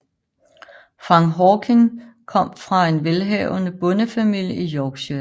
Frank Hawking kom fra en velhavende bondefamilie i Yorkshire